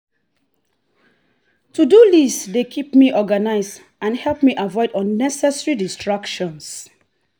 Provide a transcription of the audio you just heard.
to-do list dey keep me organized and help me avoid unnecessary distractions.